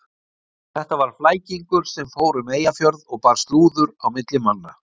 Þetta var flækingur sem fór um Eyjafjörð og bar slúður á milli manna.